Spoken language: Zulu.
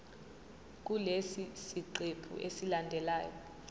kulesi siqephu esilandelayo